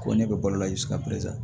Ko ne bɛ balo la